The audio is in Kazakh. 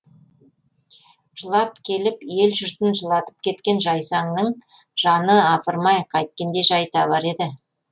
жылап келіп ел жұртын жылатып кеткен жайсаңның жаны апырм ай қайткенде жай табар еді